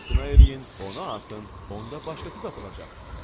İmtina eləyin, ona atın, onda başqası tapılacaq,